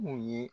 Mun ye